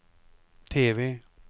TV